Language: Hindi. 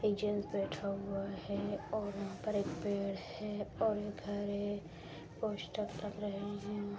एक जैंट्स बैठा हुआ है और यहां पर एक पेड़ है और एक घर है पोस्टर लग रहे हैं।